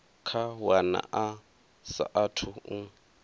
kha wana a saathu u